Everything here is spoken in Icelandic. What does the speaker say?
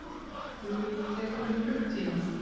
Flugið tekur um klukkutíma.